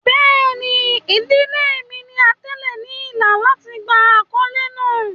Bẹẹni, idile mi ni atẹle ni ila lati gba akọle naa